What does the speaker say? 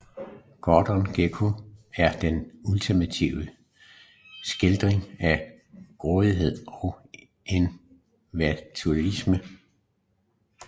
Gordon Gekko er den ultimative skildring af grådigheden og individualisme